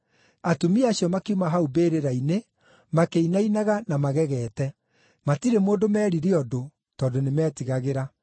Atumia acio makiuma hau mbĩrĩra-inĩ makĩinainaga na magegete. Matirĩ mũndũ meerire ũndũ, tondũ nĩmetigagĩra.